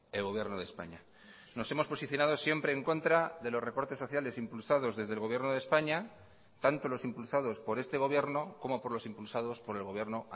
el gobierno de españa nos hemos posicionado siempre en contra de los recortes sociales impulsados desde el gobierno de españa tanto los impulsados por este gobierno como por los impulsados por el gobierno